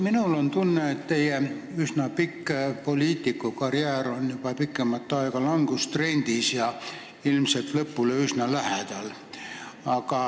Minul on tunne, et teie üsna pikk poliitikukarjäär on juba pikemat aega langustrendis ja ilmselt lõpule üsna lähedal.